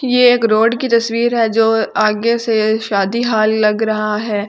ये एक रोड की तस्वीर हैं जो आगे से शादी हॉल लग रहा हैं।